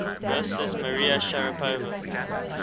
versus maria sharapova